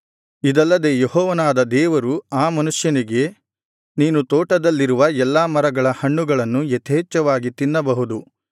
ಇದಲ್ಲದೆ ಯೆಹೋವನಾದ ದೇವರು ಆ ಮನುಷ್ಯನಿಗೆ ನೀನು ತೋಟದಲ್ಲಿರುವ ಎಲ್ಲಾ ಮರಗಳ ಹಣ್ಣುಗಳನ್ನು ಯಥೇಚ್ಛವಾಗಿ ತಿನ್ನಬಹುದು